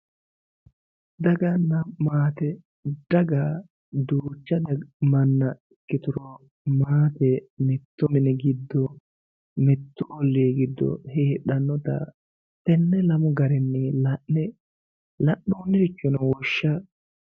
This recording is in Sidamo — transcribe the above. daganna maate gaga duucha manna ikkituro maate mittu mini giddo mittu ollii giddo heedhannota tenne lamu garinni la'ne la'noonnirichono woshsha